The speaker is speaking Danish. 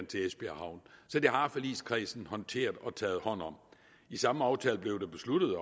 til det har forligskredsen håndteret og taget hånd om i samme aftale blev det besluttet at